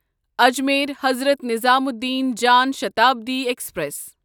Ajmer Hazrat Nizamuddin Jan Shatabdi express